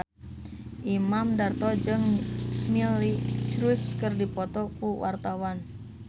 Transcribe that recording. Imam Darto jeung Miley Cyrus keur dipoto ku wartawan